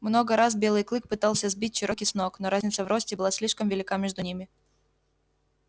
много раз белый клык пытался сбить чероки с ног но разница в росте была слишком велика между ними